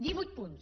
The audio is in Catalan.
divuit punts